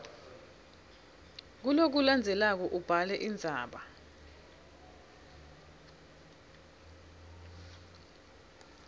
kulokulandzelako ubhale indzaba